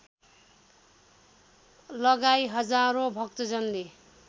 लगाई हजारौं भक्तजनले